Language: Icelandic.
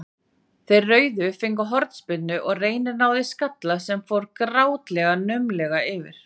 Þeir rauðu fengu hornspyrnu og Reynir náði skalla sem fór grátlega naumlega yfir.